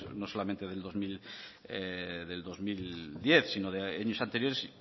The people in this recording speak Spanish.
no solamente del dos mil diez sino de años anteriores